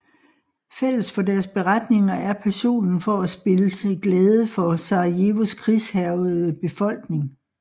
Fælles for deres beretninger er passionen for at spille til glæde for Sarajevos krigshærgede befolkning